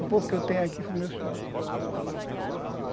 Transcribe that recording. O pouco que eu tenho aqui foi meu suor.